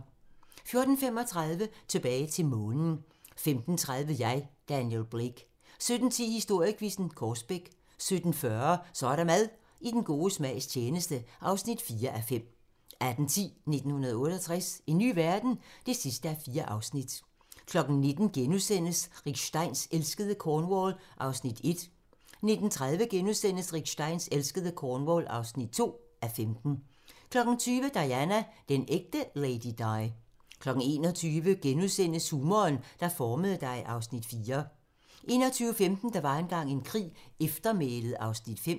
14:35: Tilbage til Månen 15:30: Jeg, Daniel Blake 17:10: Historiequizzen: Korsbæk 17:40: Så er der mad - i den gode smags tjeneste (4:5) 18:10: 1968 - en ny verden? (4:4) 19:00: Rick Steins elskede Cornwall (1:15)* 19:30: Rick Steins elskede Cornwall (2:15)* 20:00: Diana - den ægte Lady Di 21:00: Humoren, der formede dig (Afs. 4)* 21:15: Der var engang en krig - Eftermælet (Afs. 5)